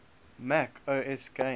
mac os games